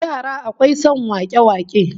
Yara akwai son wake-wake